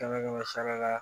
Kɛmɛ kɛmɛ sara la